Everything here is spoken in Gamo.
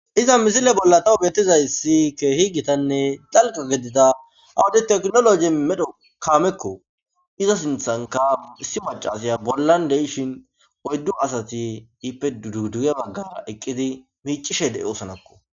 iza misile bolla tawu beettizay isi keehi gitanne dalqa gedida awadi teknoloji medho kaamekko iza sinthanka issi macaasaya bollan de7ishin oyddu asati hiippe dduduge baggara eqqidi miicishe de7e oosanakko